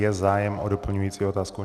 Je zájem o doplňující otázku?